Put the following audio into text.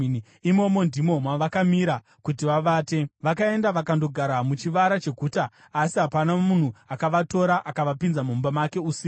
Imomo, ndimo mavakamira kuti vavate. Vakaenda vakandogara muchivara cheguta, asi hapana munhu akavatora akavapinza mumba make usiku.